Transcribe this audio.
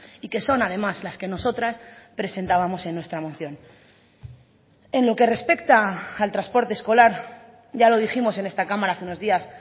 y que son además las que nosotras presentábamos en nuestra moción en lo que respecta al transporte escolar ya lo dijimos en esta cámara hace unos días